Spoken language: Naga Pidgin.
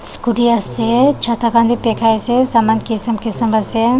scooty ase chata khan bi bakai ase saman kisam kisam ase.